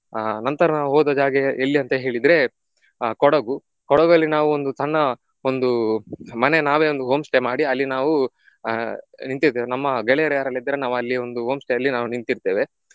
ಆಹ್ ನಂತರ ನಾವು ಹೋದ ಜಾಗ ಎಲ್ಲಿ ಅಂತ ಹೇಳಿದ್ರೆ ಆ ಕೊಡಗು ಕೊಡಗಲ್ಲಿ ನಾವು ಒಂದು ಸಣ್ಣ ಒಂದು ಮನೆ ನಾವೇ ಒಂದು homestay ಮಾಡಿ ಅಲ್ಲಿ ನಾವು ಆಹ್ ನಿಂತಿರ್ತೇವೆ ನಮ್ಮ ಗೆಳೆಯರು ಯಾರೆಲ್ಲ ಇದ್ದಾರೆ ನಾವು ಅಲ್ಲಿ ಒಂದು homestay ಅಲ್ಲಿ ನಿಂತಿರ್ತೇವೆ.